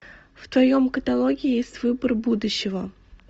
в твоем каталоге есть выбор будущего